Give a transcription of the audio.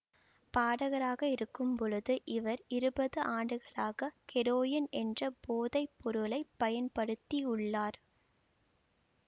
பாடகராக இருக்கும் பொழுது இவர் இருபது ஆண்டுகளாக ஹெரொயின் என்ற போதை பொருளை பயன்படுத்தியுள்ளார்